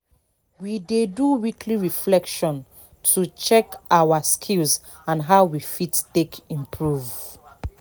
we dey do weekly reflection to check our skills and how we fit take improve